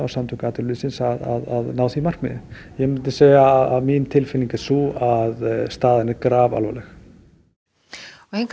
Samtök atvinnulífsins að ná því markmiði ég myndi segja að mín tilfinning er sú að staðan er grafalvarleg hingað